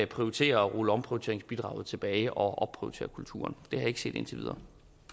prioriterer og ruller omprioriteringsbidraget tilbage og opprioriterer kulturen har jeg ikke set indtil videre